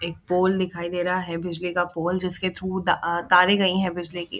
एक पोल दिखाई दे रहा है बिजली का पोल जिसके थ्रू अ तारे गई है बिजली की।